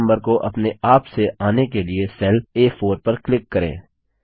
serial number को अपने आप से आने के लिए सेल आ4 पर क्लिक करें